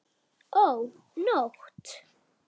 Ó, nótt!